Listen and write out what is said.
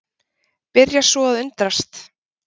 Byrja svo að undrast.